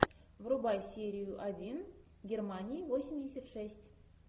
врубай серию один германия восемьдесят шесть